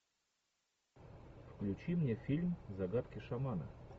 включи мне фильм загадки шамана